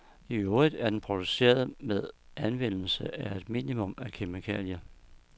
I øvrigt er den produceret med anvendelse af et minimum af kemikalier.